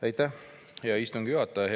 Aitäh, hea istungi juhataja!